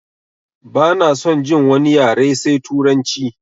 Bana son jin wani yare sai turanci!